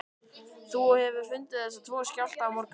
Þú hefur fundið þessa tvo skjálfta í morgun?